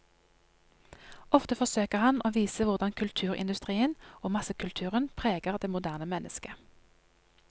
Ofte forsøker han å vise hvordan kulturindustrien og massekulturen preger det moderne mennesket.